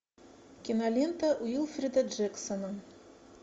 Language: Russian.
кинолента уилфреда джексона